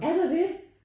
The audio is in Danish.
Er der det?